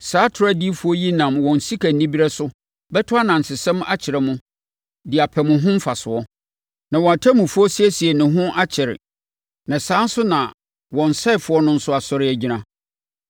Saa atorɔ adiyifoɔ yi nam wɔn sikanibereɛ so bɛto anansesɛm akyerɛ mo de apɛ mo ho mfasoɔ. Wɔn ɔtemmufoɔ siesiee ne ho akyɛre, na saa ara nso na wɔn ɔsɛefoɔ no nso asɔre agyina.